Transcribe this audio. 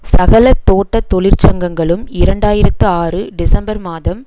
சகல தோட்ட தொழிற்சங்கங்களும் இரண்டாயிரத்து ஆறு டிசம்பர் மாதம்